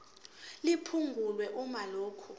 liphungulwe uma lokhu